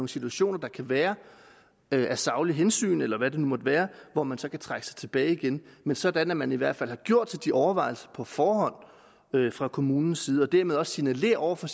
situationer der kan være af saglige hensyn eller hvad det nu måtte være hvor man så trækker sig tilbage igen men sådan at man i hvert fald har gjort sig de overvejelser på forhånd fra kommunens side og dermed også signalerer over for